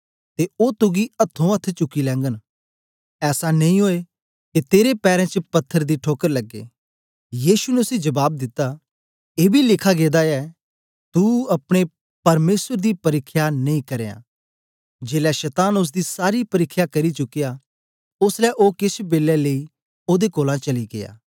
ते ओ तुगी अथ्थों अथ्थ चुकी लैगन ऐसा नेई ओऐ के तेरे पैरें च पत्थर दी ठोकर लगे